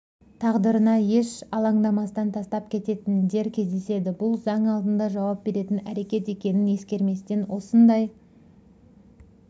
тағдырына еш алаңдамастан тастап кететіндер кездеседі бұл заң алдында жауап беретін әрекет екенін ескерместен осындай